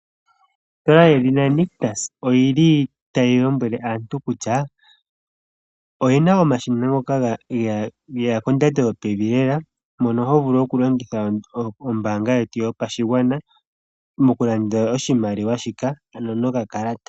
Ositola yedhina Nictus oyi li tayi lombwele aantu kutya oye na omashina ngoka ge ya kondando yopevi lela. Mono ho vulu okulongitha ombaanga yetu yopashigwana mokulanda eshina ndika nokakalata.